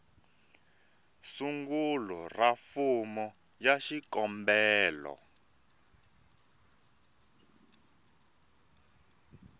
sungula ra fomo ya xikombelo